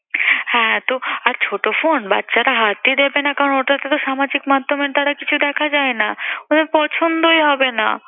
হ্যাঁ তো আর ছোট phone বাচ্চারা হাতই দেবে না কারণ ওটাতে তো সামাজিক মাধ্যমের দ্বারা কিছু দেখা যায় না। ওদের পছন্দই হবে না।